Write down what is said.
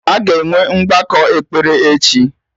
Aga enwe mgbakọ ekpere echi